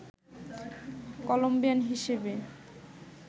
Colombian হিসেবে